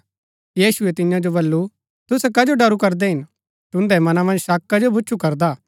यीशुऐ तियां जो बल्लू तुसै कजो डरू करदै हिन तुन्दै मनां मन्ज शक कजो भुछु करदा